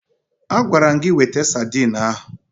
Agwara m gị weta sadin ahụ!